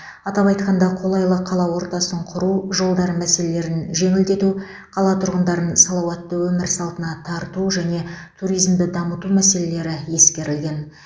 атап айтқанда қолайлы қала ортасын құру жолдар мәселелерін жеңілдету қала тұрғындарын салауатты өмір салтына тарту және туризмді дамыту мәселелері ескерілген